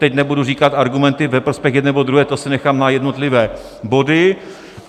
Teď nebudu říkat argumenty ve prospěch jedné nebo druhé, to si nechám na jednotlivé body.